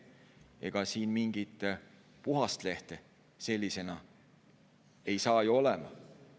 " Ega siin mingit puhast lehte sellisena ei saa ju olla.